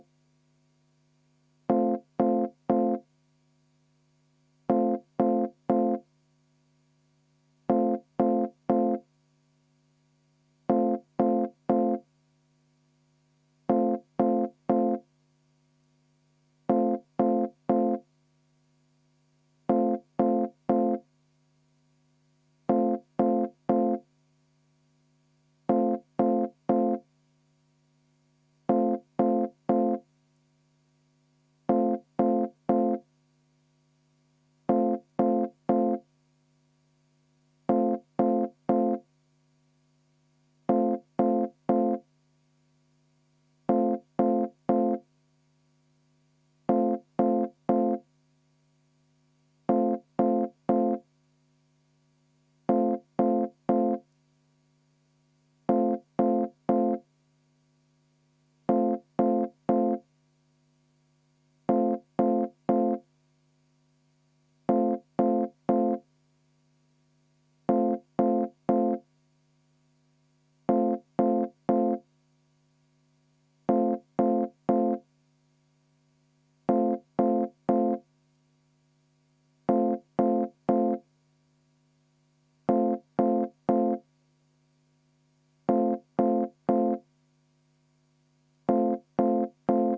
V a h e a e g